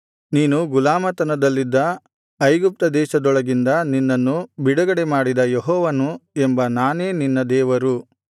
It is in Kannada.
ನೀನು ಗುಲಾಮತನದಲ್ಲಿದ್ದ ಐಗುಪ್ತ ದೇಶದೊಳಗಿಂದ ನಿನ್ನನ್ನು ಬಿಡುಗಡೆಮಾಡಿದ ಯೆಹೋವನು ಎಂಬ ನಾನೇ ನಿನ್ನ ದೇವರು